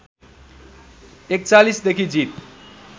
४१ देखि जीत